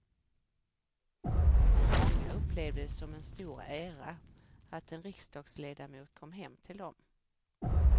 Många upplevde det som en stor ära att en riksdagsledamot kom hem till dem.